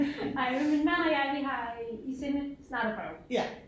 Ej men min mand og jeg vi har i sinde snart at prøve